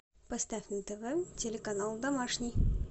поставь на тв телеканал домашний